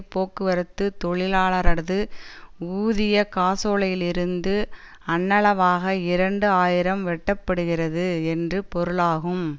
போக்குவரத்து தொழிலாளரது ஊதிய காசோலையிலிருந்து அண்ணளவாக இரண்டு ஆயிரம் வெட்டப்படுகிறது என்று பொருளாகும்